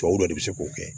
Tubabuw de bɛ se k'o kɛ